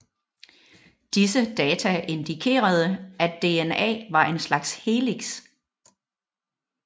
Disse data indikerede at dna var en slags helix